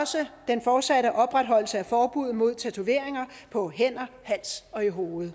også den fortsatte opretholdelse af forbuddet mod tatoveringer på hænder hals og i hovedet